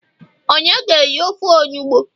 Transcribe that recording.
onye ga eri ofe onugbu?